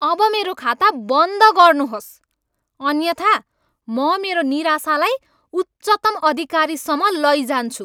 अब मेरो खाता बन्द गर्नुहोस्, अन्यथा म मेरो निराशालाई उच्चतम अधिकारीसम्म लैजान्छु।